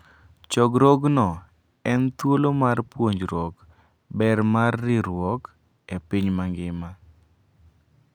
Chokruogno en thuolo mar puonjruok ber mar riwruok e piny mangima.